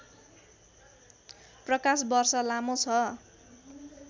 प्रकाश वर्ष लामो छ